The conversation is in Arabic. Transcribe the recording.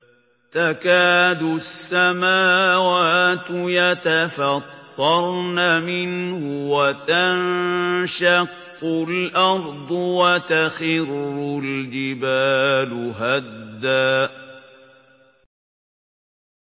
تَكَادُ السَّمَاوَاتُ يَتَفَطَّرْنَ مِنْهُ وَتَنشَقُّ الْأَرْضُ وَتَخِرُّ الْجِبَالُ هَدًّا